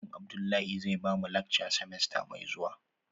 Malam Abdullahi zai bamu lakca simesta mai zuwa.